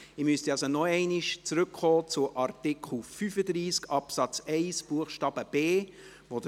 Ich muss also noch einmal auf Artikel 35 Absatz 1 Buchstabe b zurückkommen.